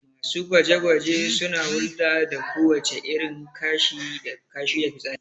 Masu gwaje-gwaje suna hulɗa da kowace irin kashi da fitsari